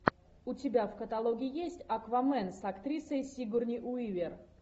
у тебя в каталоге есть аквамен с актрисой сигурни уивер